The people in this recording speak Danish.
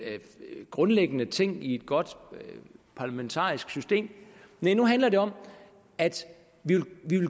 grundlæggende ting i et godt parlamentarisk system næh nu handler det om at vi